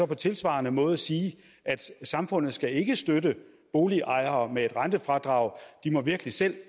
på tilsvarende måde sige samfundet skal ikke støtte boligejere med et rentefradrag de må virkelig selv